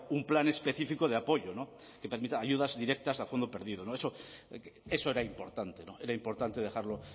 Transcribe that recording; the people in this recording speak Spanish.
un plan específico de apoyo que permita ayudas directas a fondo perdido eso era importante era importante dejarlo